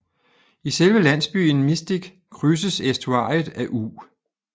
I selve landsbyen Mystic krydses æstuariet af U